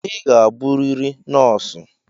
Ị ga-abụrịrị nọọsụ!